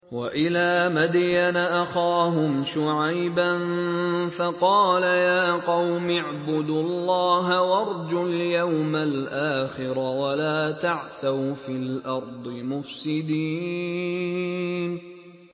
وَإِلَىٰ مَدْيَنَ أَخَاهُمْ شُعَيْبًا فَقَالَ يَا قَوْمِ اعْبُدُوا اللَّهَ وَارْجُوا الْيَوْمَ الْآخِرَ وَلَا تَعْثَوْا فِي الْأَرْضِ مُفْسِدِينَ